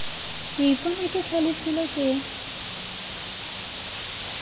ke ipona ke hlalefile ke